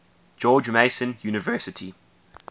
george mason university